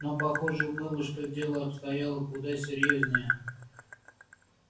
но похоже было что дело обстояло куда серьёзнее